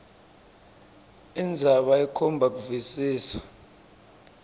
indzaba ikhomba kuvisisa